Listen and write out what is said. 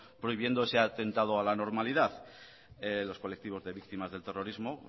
prohibiendo ese atentado a la normalidad los colectivos de víctimas del terrorismo